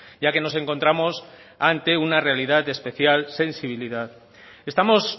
ya que nos encontramos ante una realidad de especial sensibilidad estamos